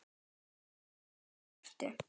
Hvaðan ertu?